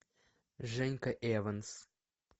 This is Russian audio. женька эванс